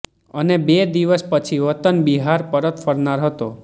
અને બે દિવસ પછી વતન બિહાર પરત ફરનાર હતો